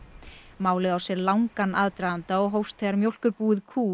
málið á sér langan aðdraganda og hófst þegar mjólkurbúið kú